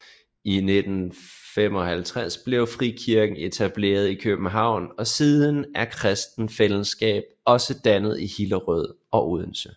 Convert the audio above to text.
I 1955 blev frikirken etableret i København og siden er Kristent Fællesskab også dannet i Hillerød og Odense